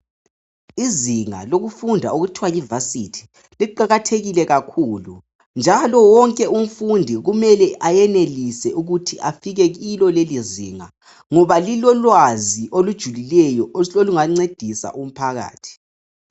Izinga lokufunda okuthwa yivasithi liqakathekile kakhulu njalo wonke umfundi kumele ukuthi afike kulo leleizinga ngoba lilolwazi olungancedisa umphakathi.